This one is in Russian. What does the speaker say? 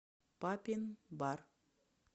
папин бар